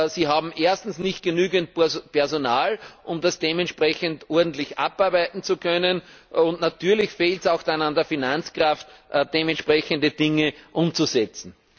Sie haben erstens nicht genügend Personal, um das dementsprechend ordentlich abarbeiten zu können, und natürlich fehlt es dann auch an der Finanzkraft, dementsprechende Dinge umzusetzen.